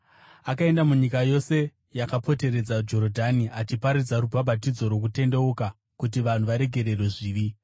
Akaenda munyika yose yakapoteredza Jorodhani, achiparidza rubhabhatidzo rwokutendeuka kuti vanhu varegererwe zvivi.